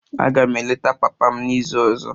Aga m eleta papa m n'izu ọzọ.